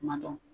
Kuma dɔ